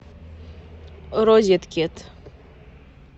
розеткед